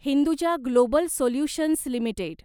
Hinduja global solutions limited